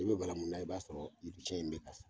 I be bala mun na i b'a sɔrɔ